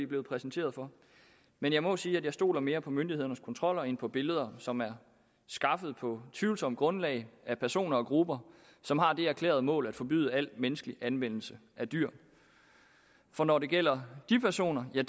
blevet præsenteret for men jeg må sige at jeg stoler mere på myndighedernes kontroller end på billeder som er skaffet på et tvivlsomt grundlag af personer og grupper som har det erklærede mål at forbyde al menneskelig anvendelse af dyr for når det gælder de personer er